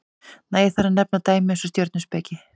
nægir þar að nefna dæmi eins og stjörnuspeki